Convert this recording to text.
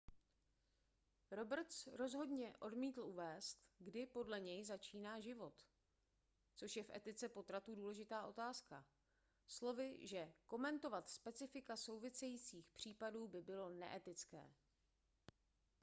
roberts rozhodně odmítl uvést kdy podle něj začíná život což je v etice potratů důležitá otázka slovy že komentovat specifika souvisejících případů by bylo neetické